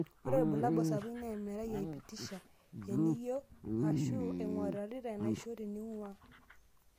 Ore ilbulabul sapukin naa emerai aipitasha eniyio aashu eng'uarrata enaisho teninguaa.